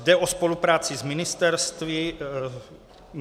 Jde o spolupráci s ministerstvy.